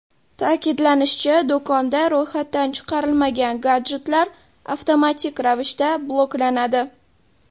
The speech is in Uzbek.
Ta’kidlanishicha, do‘konda ro‘yxatdan chiqarilmagan gadjetlar avtomatik ravishda bloklanadi.